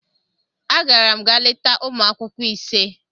Agara m ga leta ụmụ akwụkwọ ise.